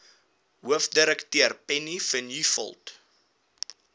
hoofdirekteur penny vinjevold